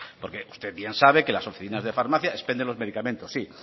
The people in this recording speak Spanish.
porque usted bien sabe que las oficinas de farmacia expenden los medicamentos sí